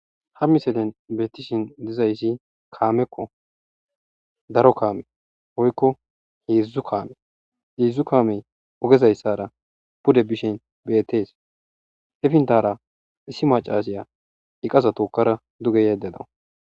Ha misilen betishn dizaysa kameko daro kame woyko he'dzu kame hedzu kamey ogezaysara pude bishin betes he pintara issi macasiya eqaza tokada fuge yayida dawus